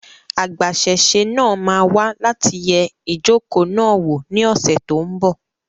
Agbasẹ́sé náà máa wá láti yẹ ijoko náà wò ní ọ́sẹ́ tón bò